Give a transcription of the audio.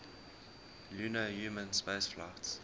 lunar human spaceflights